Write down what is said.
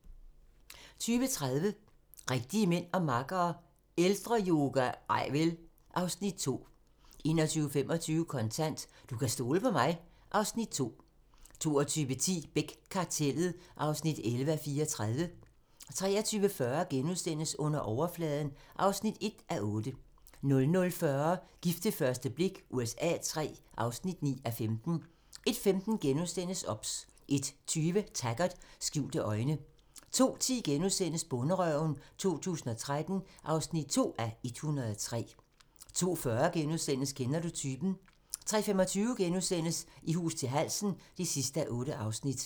20:30: Rigtige mænd og makkere - Ældreyoga? Nej vel! (Afs. 2) 21:25: Kontant: Du kan stole på mig (Afs. 2) 22:10: Beck: Kartellet (11:34) 23:40: Under overfladen (1:8)* 00:40: Gift ved første blik USA III (9:15) 01:15: OBS * 01:20: Taggart: Skjulte øjne 02:10: Bonderøven 2013 (2:103)* 02:40: Kender du typen? * 03:25: I hus til halsen (8:8)*